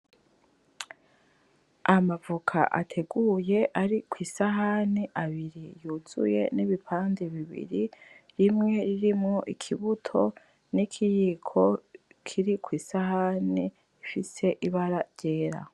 Amavoka ateguye ari ku isahani abiri yuzuye n’ibipande bibiri rimwe ririmwo ikibuto n’ikiyiko kiri ku isahane ifise ibara ryera.